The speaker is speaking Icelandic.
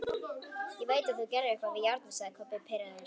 Ég veit þú gerðir eitthvað við járnið, sagði Kobbi pirraður.